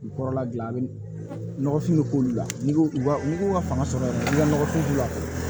Kɔrɔla dilan nɔgɔfin bɛ k'olu la n'i ko n'i ko ka fanga sɔrɔ i ka nɔgɔfin la